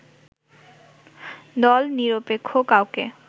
দল-নিরপেক্ষ কাউকে